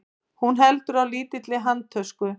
Hún heldur á lítilli handtösku.